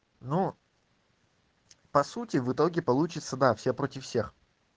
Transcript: ну по сути в итоге получится да все против всех